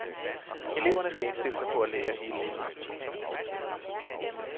Eleverne skal indstille sig på at lære hele livet. punktum